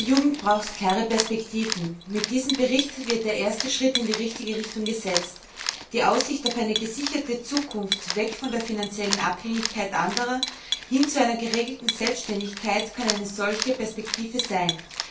Die europäische Jugend braucht klare Perspektiven. Mit diesem Bericht wird der erste Schritt in die richtige Richtung gesetzt. Die Aussicht auf eine gesicherte Zukunft, weg von der finanziellen Abhängigkeit von anderen hin zu einer geregelten Selbständigkeit kann eine solche Perspektive sein.